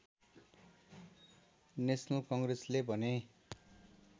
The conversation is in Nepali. नेसनल कङ्ग्रेसले भने